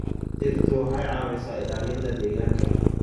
Dhirtu waxay caawisaa ilaalinta deegaanka.